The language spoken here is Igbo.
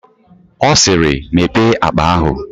Ọ siiri, Mepee akpa ahụ!